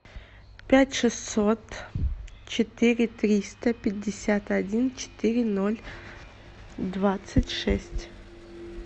пять шестьсот четыре триста пятьдесят один четыре ноль двадцать шесть